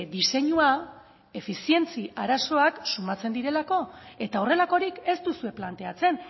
diseinua efizientzia arazoak somatzen direlako eta horrelakorik ez duzue planteatzen